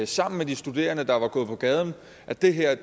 sammen med de studerende der var gået på gaden at det her